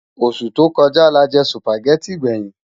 Ósú tó kòjá lájè Sùpágèti gbèyin